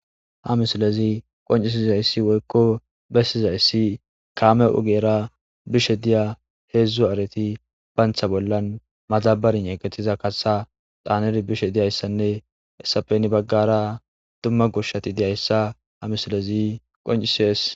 ha misilezi qoncisizayssi woykko bessizayssi kaame ogera bishe diya heedzdzu areti bantha bollan maxabari yeqetiza kaha xaaner bishe diyayssanne hessapeni baggara dumma gushshati deyayssa ha misilezi qoncisees